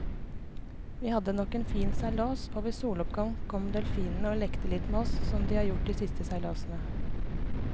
Vi hadde nok en fin seilas, og ved soloppgang kom delfinene og lekte litt med oss som de har gjort de siste seilasene.